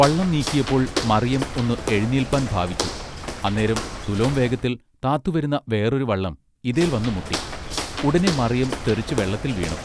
വള്ളം നീക്കിയപ്പൊൾ മറിയം ഒന്ന് എഴുനീല്പാൻ ഭാവിച്ചു അന്നേരം തുലോം വേഗത്തിൽ താത്തു വരുന്ന വേറൊരു വള്ളം ഇതേൽ വന്നു മുട്ടി ഉടനെ മറിയം തെറിച്ചു വെള്ളത്തിൽ വീണു